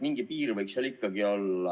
Mingi piir võiks ikkagi olla.